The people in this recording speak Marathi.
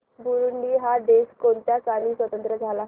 बुरुंडी हा देश कोणत्या साली स्वातंत्र्य झाला